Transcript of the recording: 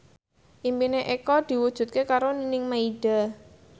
impine Eko diwujudke karo Nining Meida